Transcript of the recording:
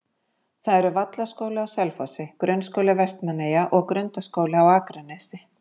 Það eru Vallaskóli á Selfossi, Grunnskóli Vestmannaeyja og Grundaskóli á Akranesi.